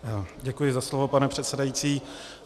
Děkuji za slovo, pane předsedající.